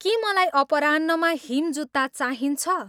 के मलाई अपराह्नमा हिम जुत्ता चाहिन्छ